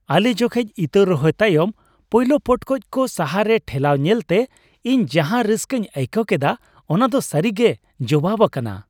ᱟᱞᱮ ᱡᱚᱠᱷᱮᱡ ᱤᱛᱟᱹ ᱨᱚᱦᱚᱭ ᱛᱟᱭᱚᱢ ᱯᱳᱭᱞᱳ ᱯᱚᱴᱠᱚᱡ ᱠᱚ ᱦᱟᱥᱟᱨᱮ ᱴᱷᱮᱞᱟᱣ ᱧᱮᱞᱛᱮ ᱤᱧ ᱡᱟᱸᱦᱟ ᱨᱟᱹᱥᱠᱟᱹᱧ ᱟᱹᱭᱠᱟᱹᱣ ᱠᱮᱫᱟ ᱚᱱᱟ ᱫᱚ ᱥᱟᱹᱨᱤᱜᱮ ᱡᱚᱣᱟᱣ ᱟᱠᱟᱱᱟ ᱾